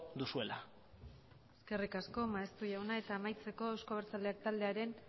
duzuela eskerrik asko maeztu jauna eta amaitzeko euzko abertzaleak taldearen